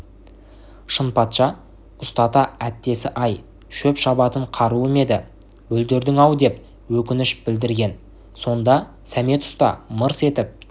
шынпатша ұстата әттесі-ай шөп шабатын қаруым еді бүлдірдің-ау деп өкініш білдірген сонда сәмет ұста мырс етіп